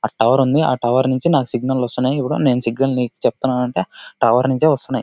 ఆ టవర్ ఉంది. ఆ టవర్ నుంచి నాకు సిగ్నల్స్ వస్తున్నాయి ఆ సిగ్నల్ నీవు నీకు చెప్తున్నాను అంటే ఆ టవర్ నుంచే వస్తున్నాయి.